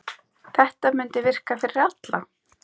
Þetta mundi virka fyrir alla.